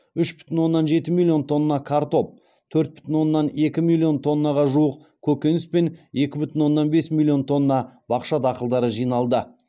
үш бүтін оннан жеті миллион тонна картоп төрт бүтін оннан екі миллион тоннаға жуық көкөніс пен екі бүтін оннан бес миллион тонна бақша дақылдары жиналды